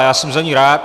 A já jsem za ni rád.